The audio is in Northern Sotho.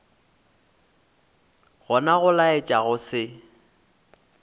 gona go laetša go se